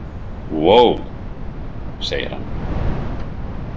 Vó, segir hann.